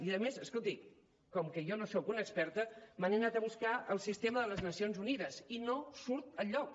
i a més escolti com que jo no soc una experta me n’he anat a buscar el sistema de les nacions unides i no surt enlloc